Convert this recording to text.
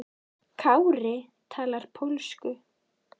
Kári talar pólsku.